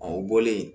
Ɔ o bɔlen